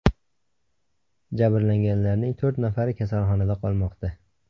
Jabrlanganlarning to‘rt nafari kasalxonada qolmoqda.